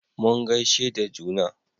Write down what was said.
mun gaishe da juna